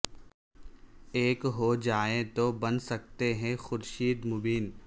ایک ہو جائیں تو بن سکتے ہیں خورشید مبیں